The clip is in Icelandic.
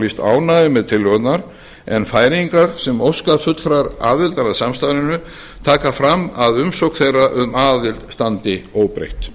lýst ánægju með tillögurnar en færeyingar sem óska fullrar aðildar að samstarfinu taka fram að umsókn þeirra um aðild standi óbreytt